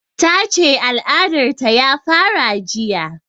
Ta ce al'adar ta ya fara jiya